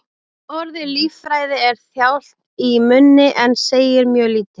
Orðið lýðfræði er þjált í munni en segir mjög lítið.